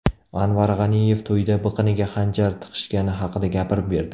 Anvar G‘aniyev to‘yda biqiniga xanjar tiqishgani haqida gapirib berdi .